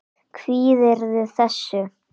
Kvíðirðu þessu?